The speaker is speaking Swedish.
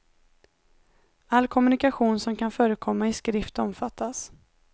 All kommunikation som kan förekomma i skrift omfattas.